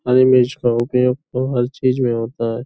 हरी मिर्च का उपयोग यहाँ हर चीज़ में होता है।